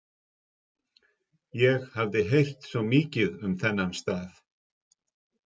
Ég hafði heyrt svo mikið um þennan stað.